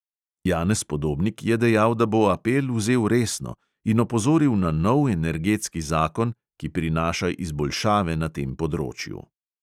Janez podobnik je dejal, da bo apel vzel resno, in opozoril na nov energetski zakon, ki prinaša izboljšave na tem področju.